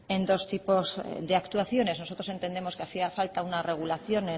en dos tipos de actuaciones nosotros entendemos que hacía falta una regulación